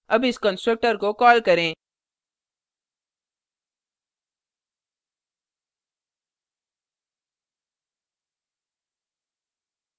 अब इस constructor को कॉल करें